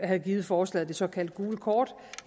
havde givet forslaget det såkaldte gule kort